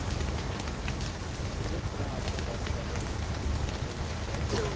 ਜਿਸ ਤਰ੍ਹਾਂ ਆਪਾਂ ਗੱਲ ਕਰ ਰਹੇ ਹਾਂ ਕਿ ਮਨੋਰੰਜਨ ਦੇ ਸਾਧਨ